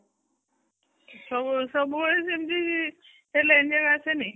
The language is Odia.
ସବୁବେଳେ ସବୁବେଳେ ସେ ଏମିତି ଆସେନି